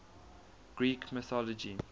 greek mythology